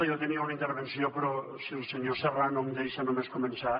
jo tenia una intervenció però si el senyor serrano em deixa només començar